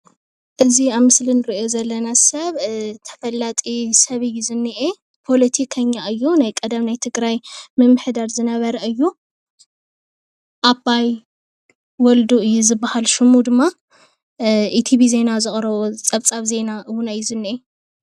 እዚ ኣብ ምስሊ ንርኦ ዘለና ሰብ ተፈላጢ ሰብ እዩ ዝኒኤ ፖለቲከኛ እዩ፤ ናይ ቀደም ናይ ትግራይ ምምሕዳር ዝነበረ እዩ ኣባይ ወልዱ እዩ ዝብሃለ ሽሙ ድማ ኢትቪ ዜና ዘቕረቦ ጸብጻብ ዜና እዩ ዝንሄ።